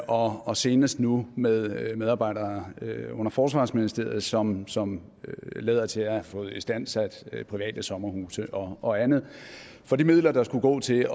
og og senest nu med medarbejdere under forsvarsministeriet som som lader til at have fået istandsat private sommerhuse og andet for de midler der skulle gå til